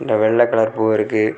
இங்க வெள்ள கலர் பூ இருக்கு.